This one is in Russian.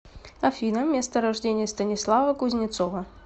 афина место рождения станислава кузнецова